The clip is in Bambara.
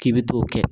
K'i bɛ t'o kɛ